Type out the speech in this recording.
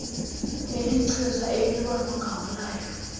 nelichiza elilwa nogawulayo